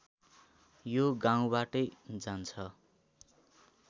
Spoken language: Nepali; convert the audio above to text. यो गाउँबाटै जान्छ